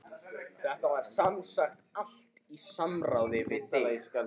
Þetta var semsagt allt í samráði við þig?